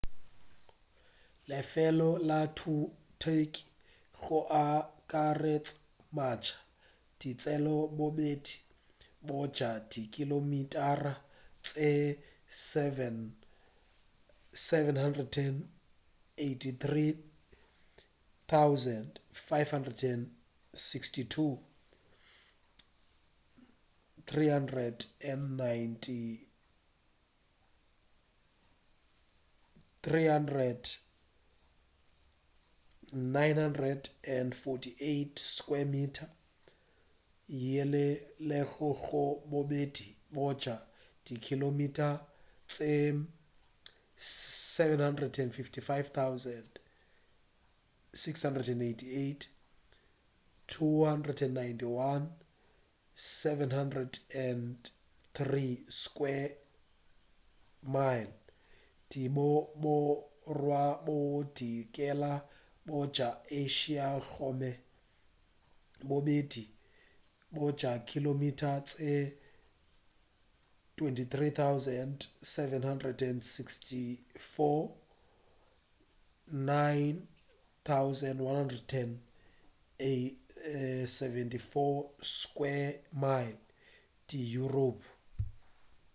lefelo la turkey go akaretša matsha di tšea bobedi bja dikilomitara tše 783,562 300,948 sq mi yeo e lego gore bobedi bja dikilomitara tše 755,688 291,773 sq mi di go borwa bodikela bja asia gomme bobedi bja dikilomitara tše 23,764 9,174 sq mi di yuropa